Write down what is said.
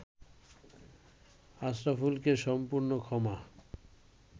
আশরাফুলকে সম্পূর্ণ ক্ষমা